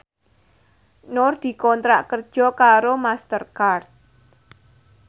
Nur dikontrak kerja karo Master Card